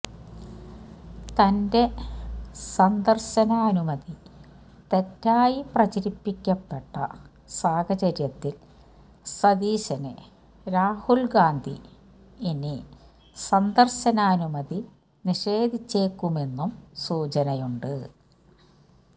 തന്റെ സന്ദര്ശനാനുമതി തെറ്റായി പ്രചരിപ്പിക്കപ്പെട്ട സാഹചര്യത്തില് സതീശന് രാഹുല് ഗാന്ധി ഇനി സന്ദര്ശനാനുമതി നിഷേധിച്ചേക്കുമെന്നും സൂചനയുണ്ട്